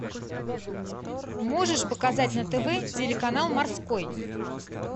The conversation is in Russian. можешь показать на тв телеканал морской